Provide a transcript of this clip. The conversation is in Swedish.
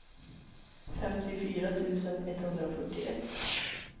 femtiofyra tusen etthundrafyrtioett